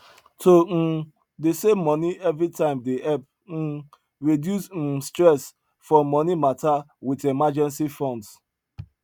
to um dey say money every time dey help um reduce um stress for money matter with emergency funds